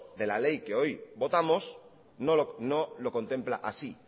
de la ley que hoy votamos no lo contempla así